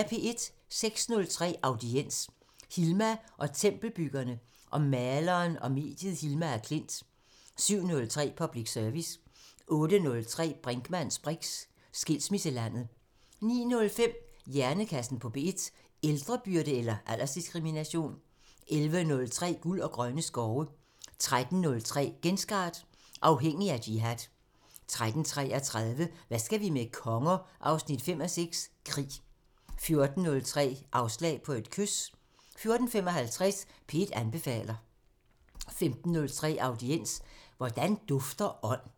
06:03: Audiens: Hilma og tempelbyggerne- om maleren og mediet Hilma af Klint 07:03: Public Service 08:03: Brinkmanns briks: Skilsmisselandet 09:05: Hjernekassen på P1: Ældrebyrde eller aldersdiskrimination? 11:03: Guld og grønne skove 13:03: Genstart: Afhængig af jihad 13:33: Hvad skal vi med konger? 5:6 – Krig 14:03: Afslag på et kys 14:55: P1 anbefaler 15:03: Audiens: Hvordan dufter ånd?